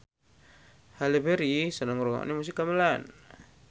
Halle Berry seneng ngrungokne musik gamelan